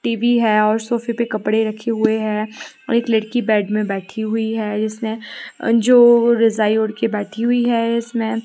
TV है और सोफे पे कपड़े रखे हुए हैं और एक लड़की बेड में बैठी हुई हैं जिसने जो रजाई ओढ़ के बैठी हुई है इसमें।